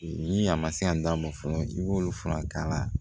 Ni a ma se yan d'a ma fɔlɔ i b'olu fura k'a la